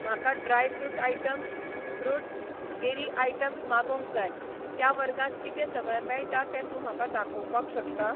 म्हाका dry fruit items , fruits, dairy items मागोवंक जाय, त्या वर्गांत कितें सगळें मेळटा तें तूं म्हाका दाखोवपाक शकता?